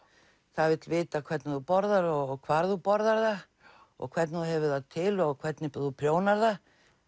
það vill vita hvernig þú borðar og hvar þú borðar það og hvernig þú hefur það til og hvernig þú prjónar það